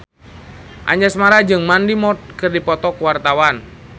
Anjasmara jeung Mandy Moore keur dipoto ku wartawan